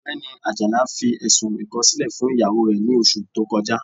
Ọgbẹni Ajala fi ẹ̀ṣùn ikọ̀silẹ̀ fún iyawó rẹ̀ ní ọṣù tó kọja.